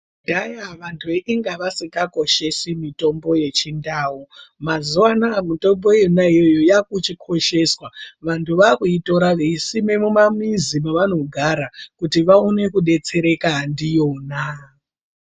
Kudhaya vandhu inge vasingakoshesi mitombo yechindau, mazuva anaa mitombo iyona iyoyo yakuchikosheswa vandhu vakuitira veisima mumamizi mavanogara kuti vaone kudetseraka ndiyona.